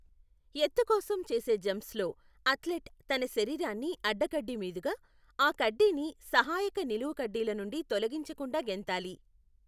ఎత్తు కోసం చేసే జంప్స్లో, అథ్లెట్ తన శరీరాన్ని అడ్డ కడ్డీ మీదుగా, ఆ కడ్డీని సహాయక నిలువుకడ్డిల నుండి తొలగించకుండా గెంతాలి.